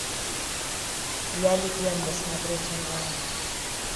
я легенда смотреть онлайн